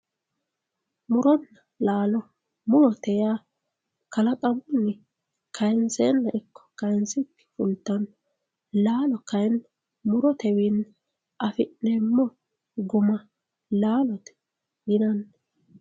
Muro laalo, murote yaa kalaqamunni kayinsenna ikko kayinsikki fultano laalo kayinni murotewinni affi'neemmo guma laalote yinanni.